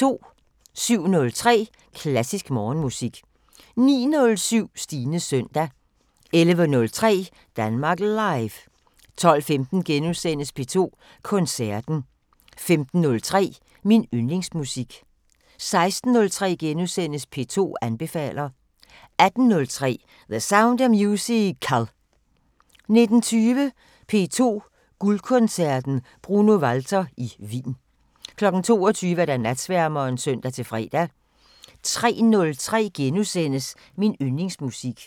07:03: Klassisk Morgenmusik 09:07: Stines søndag 11:03: Danmark Live 12:15: P2 Koncerten * 15:03: Min Yndlingsmusik 16:03: P2 anbefaler * 18:03: The Sound of Musical 19:20: P2 Guldkoncerten: Bruno Walter i Wien 22:00: Natsværmeren (søn-fre) 03:03: Min Yndlingsmusik *